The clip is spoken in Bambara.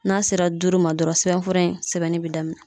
N'a sera duuru ma dɔrɔn sɛbɛnfura in sɛbɛnni bɛ daminɛ.